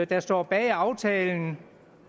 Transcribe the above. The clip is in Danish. der står bag aftalen